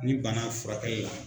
Ni bana furakɛlila